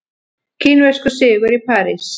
Kínverskur sigur í París